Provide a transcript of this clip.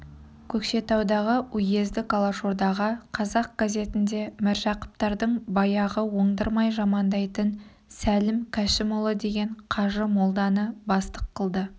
көкшетаудағы уездік алашордаға қазақ газетінде міржақыптардың баяғы оңдырмай жамандайтын сәлім кәшімұлы деген қажы-молданы бастық қылды